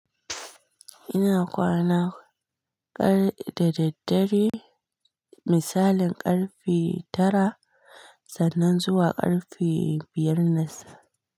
Ina kwana ƙar da daddare, misalin ƙarfe tara sannan zuwa ƙarfe biyar na safe.